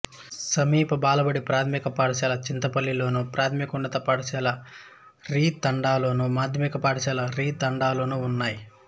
సమీప బాలబడి ప్రాథమిక పాఠశాల చింతపల్లిలోను ప్రాథమికోన్నత పాఠశాల రింతాడలోను మాధ్యమిక పాఠశాల రింతాడలోనూ ఉన్నాయి